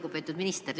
Lugupeetud minister!